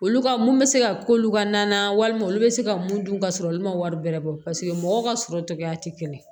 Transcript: Olu ka mun bɛ se ka k'olu ka na walima olu bɛ se ka mun dun ka sɔrɔ olu ma wari bɛrɛ bɔ paseke mɔgɔw ka sɔrɔ cogoya tɛ kɛnɛ ye